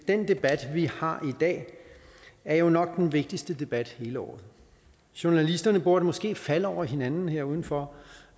debat vi har i dag er jo nok den vigtigste debat hele året journalister burde måske falde over hinanden her udenfor